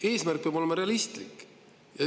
Eesmärk peab olema realistlik.